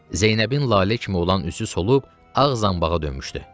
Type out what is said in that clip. Zeynəbin lalə kimi olan üzü solub ağ zanbağa dönmüşdü.